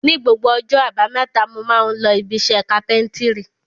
Ni gbogbo ọjọ́ àbámẹ́ta mo máa ń lọ ibiṣẹ́ kápẹ́ńtírì.